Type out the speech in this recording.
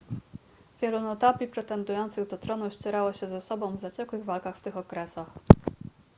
wielu notabli pretendujących do tronu ścierało się ze sobą w zaciekłych walkach w tych okresach